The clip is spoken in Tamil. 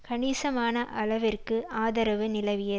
கணிசமான அளவிற்கு ஆதரவு நிலவிய